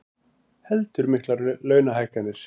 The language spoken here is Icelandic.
Heldur miklar launahækkanir